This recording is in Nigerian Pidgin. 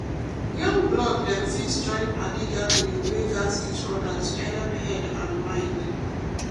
young blood dem fit join padi gathering wey gat each other to helep head and mind.